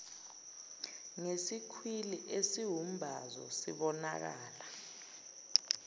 ngesikhwili esiwumbazo sibonakala